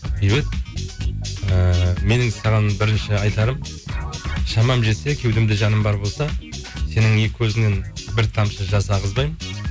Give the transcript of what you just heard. бейбіт ііі менің саған бірінші айтарым шамам жетсе кеудемде жаным бар болса сенің екі көзіңнен бір тамшы жас ағызбаймын